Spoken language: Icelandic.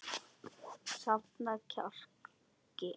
Safna kjarki.